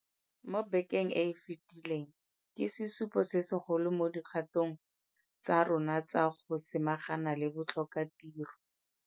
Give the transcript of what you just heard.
Mo bekeng e e fetileng ke sesupo se segolo mo dikgatong tsa rona tsa go samagana le botlhokatiro.